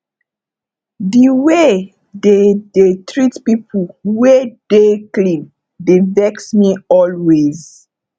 the way they dey treat people wey dey clean dey vex me always